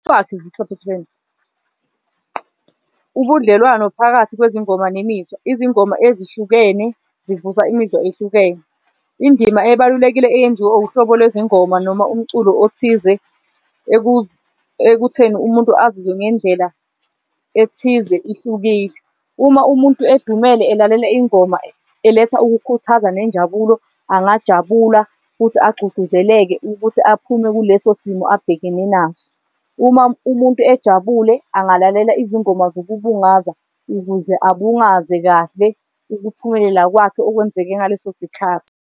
Ubudlelwano phakathi kwezingoma nemizwa, izingoma ezihlukene zivusa imizwa ehlukene, indima ebalulekile eyenziwa uhlobo lwezingoba noma umculo othize ekutheni umuntu azizwe ngendlela ethize ihlukile. Uma umuntu edumele elalela ingoma eletha ukukhuthaza nenjabulo, angajabula futhi agcugcuzeleke ukuthi aphume kuleso simo abhekene naso. Uma umuntu ejabule angalalela izingoma zokubungaza, ukuze abungaze kahle ukuphumelela kwakhe okwenzeke ngaleso sikhathi.